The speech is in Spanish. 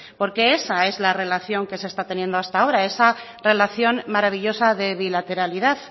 porque esa es la relación que se está teniendo hasta ahora esa relación maravillosa de bilateralidad